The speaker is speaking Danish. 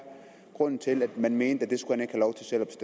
grunden til at man mente at det skulle